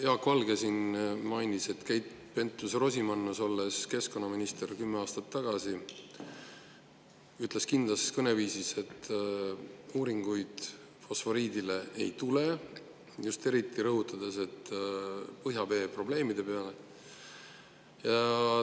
Jaak Valge siin mainis, et Keit Pentus-Rosimannus, olles keskkonnaminister kümme aastat tagasi, ütles kindlas kõneviisis, et fosforiidi kohta uuringuid ei tule, eriti rõhutades põhjavee probleeme.